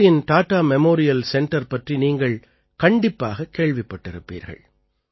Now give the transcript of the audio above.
மும்பையின் Tata memorial centre பற்றி நீங்கள் கண்டிப்பாகக் கேள்விப்பட்டிருப்பீர்கள்